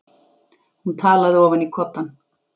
Hún talaði ofan í koddann.